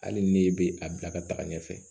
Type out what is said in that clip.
Hali ni e bɛ a bila ka taga ɲɛfɛ